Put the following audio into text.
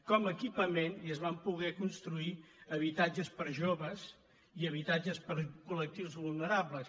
com a equipament i es van poder construir habitatges per a joves i habitatges per a col·lectius vulnerables